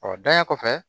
Ɔ dayɛlɛ kɔfɛ